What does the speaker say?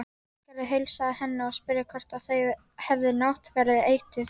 Ásgerður heilsaði henni og spurði hvort þau hefði náttverð etið.